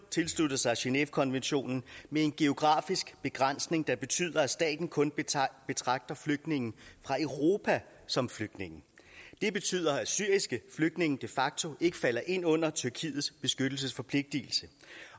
tilsluttet sig genèvekonventionen med en geografisk begrænsning der betyder at staten kun betragter flygtninge fra europa som flygtninge det betyder at syriske flygtninge de facto ikke falder ind under tyrkiets beskyttelsesforpligtelse